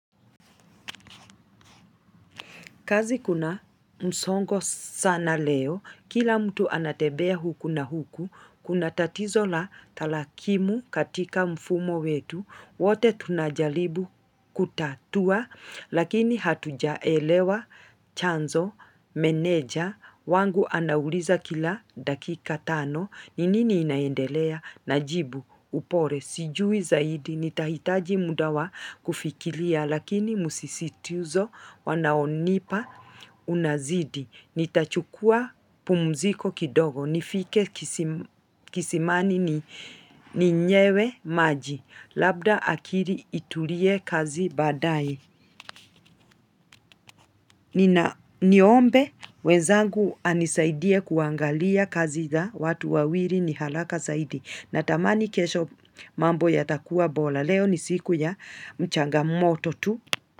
Kazi kuna msongo sana leo, kila mtu anatembea huku na huku, kuna tatizo la tarakimu katika mfumo wetu, wote tunajaribu kutatua, lakini hatujaelewa chanzo, meneja, wangu anauliza kila dakika tano, ni nini inaendelea, najibu, upole, sijui zaidi, nitahitaji muda wa kufikiria, Lakini msisitizo wanaonipa unazidi Nitachukua pumziko kidogo nifike kisimani ninyewe maji Labda akili itulie kazi baadae Niombe mwenzangu anisaidie kuangalia kazi za watu wawili ni haraka zaidi Natamani kesho mambo yatakuwa bora Leo ni siku ya changamoto tu.